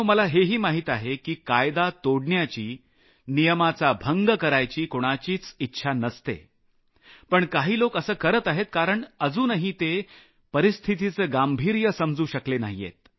मला हेही माहित आहे की कायदा तोडण्याची नियमाचा भंग करायची कुणाचीच इच्छा नसते पण काही लोक असं करत आहेत कारण अजूनही ते परिस्थितीचं गांभीर्य समजू शकत नाहीयेत